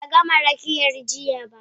Ba ta gama rakiyar jiya ba.